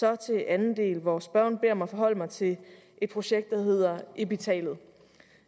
jeg til anden del hvor spørgeren beder mig forholde mig til et projekt der hedder epitalet